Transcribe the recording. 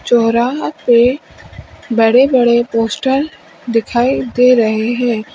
चौराहा पे बड़े बड़े पोस्टर दिखाई दे रहे हैं।